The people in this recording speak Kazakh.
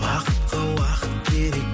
бақытқа уақыт керек